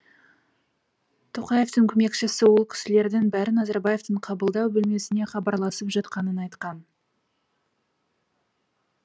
тоқаевтың көмекшісі ол кісілердің бәрі назарбаевтың қабылдау бөлмесіне хабарласып жатқанын айтқан